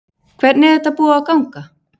Hvernig er þetta búið að ganga?